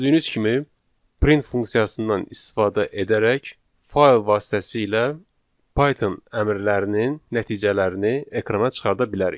Gördüyünüz kimi, print funksiyasından istifadə edərək fayl vasitəsilə Python əmrlərinin nəticələrini ekrana çıxarda bilərik.